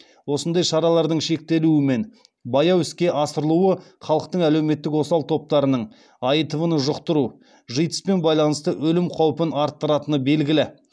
осындай шаралардың шектелуі мен баяу іске асырылуы халықтың әлеуметтік осал топтарының аитв ны жұқтыру житс пен байланысты өлім қаупін арттыратыны белгілі